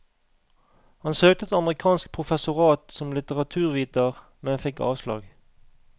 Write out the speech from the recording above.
Han søkte et amerikansk professorat som litteraturviter, men fikk avslag.